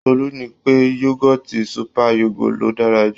Tolú ní pé yógọ́ọ̀tì super yogo ló dára jù.